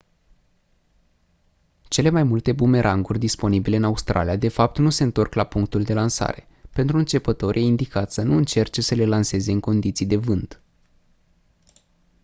cele mai multe bumeranguri disponibile în australia de fapt nu se întorc la punctul de lansare pentru începători e indicat să nu încerce să le lanseze în condiții de vânt